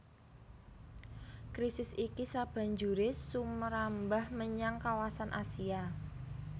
Krisis iki sabanjuré sumrambah menyang kawasan Asia